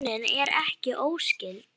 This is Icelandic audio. En rímunin er ekki óskyld.